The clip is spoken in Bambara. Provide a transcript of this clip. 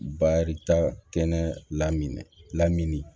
Baarita kɛnɛ lamini lamini